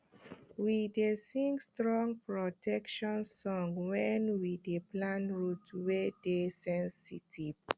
we dey sing strong protection song when we dey plant root wey dey sensitive